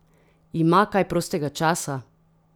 Ima kaj prostega časa?